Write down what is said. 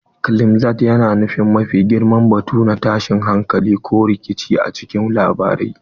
Climax yana nufin mafi girman batu na tashin hankali ko rikici a cikin labari.